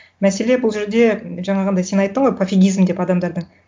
мәселен бұл жерде жаңағындай сен айттың ғой пофигизм деп адамдарда